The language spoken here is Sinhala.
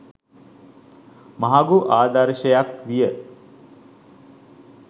මහඟු ආදර්ශයක් විය.